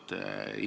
Härra peaminister!